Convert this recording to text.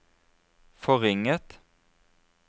forringet